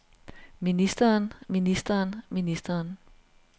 ministeren ministeren ministeren